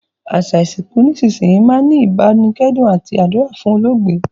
Àsa ìsìnkù nísinsìnyi máa n ni ìbánikẹ́dùn àti àdúrà fún olóògbé